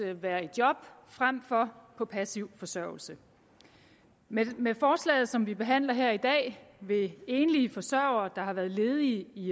at være i job frem for på passiv forsørgelse med med forslaget som vi behandler her i dag vil enlige forsørgere der har været ledige i